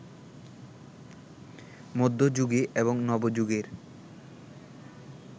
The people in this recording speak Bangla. মধ্য যুগে এবং নবযুগের